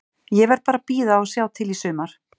Ég verð bara að bíða og sjá til í sumar.